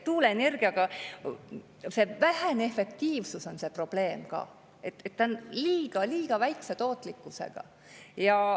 Tuuleenergia probleem on ka vähene efektiivsus, see on liiga väikese tootlikkusega.